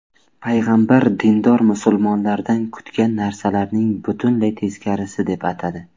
payg‘ambar dindor musulmonlardan kutgan narsalarning butunlay teskarisi deb atadi.